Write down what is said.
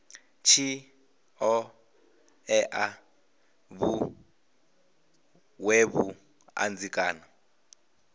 tshi ṱoḓea vhuṅwe vhuṱanzi kana